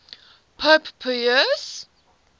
pope pius